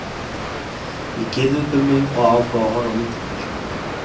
Ég gyrði upp um mig og ákveð að horfa á myndirnar.